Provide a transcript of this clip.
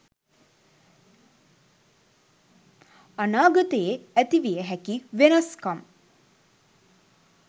අනාගතයේ ඇතිවිය හැකි වෙනස්කම්